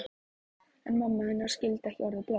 En mamma hennar skildi ekki orðið bless.